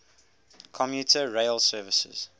commuter rail services